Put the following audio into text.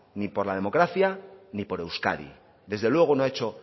ni por la democracia ni por euskadi desde luego no ha hecho